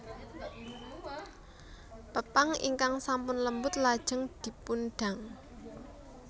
Pepang ingkang sampun lembut lajeng dipundang